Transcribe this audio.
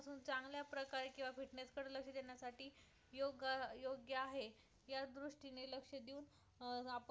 योग्य योग्य आहे या दृष्टीने लक्ष देऊन अं आपण